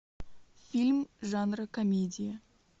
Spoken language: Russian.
фильм жанра комедия